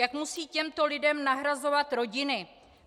Jak musejí těmto lidem nahrazovat rodiny?